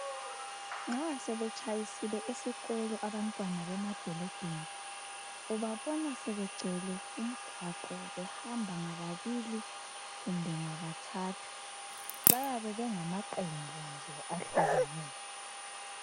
Nxa sebetshayisile esikolo abantwana bemadolobheni ubabona sebegcwele umgwaqo behamba ngabili kumbe ngabathathu. Bayabe bengamaqembu nje ahlukeneyo.